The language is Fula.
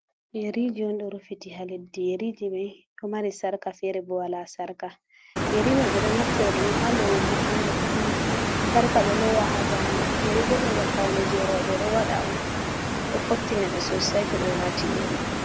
yeriji on do rufiti ha leddi ,yeriji mai do mari sarka ,fere bo wala sarka, yeri mai be do naftira dum ha lowugo ha noppi ,sarka be lowa ha dande, yeri bo hunde pawn je rewbe ɓe do wada on, do fottina be sosai to be wati yeri.